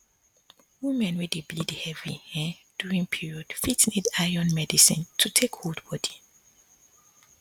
women wey dey bleed heavy um during period fit need iron medicine to um take hold body